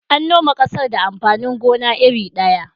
An noma ƙasar da amfanin gona iri ɗaya.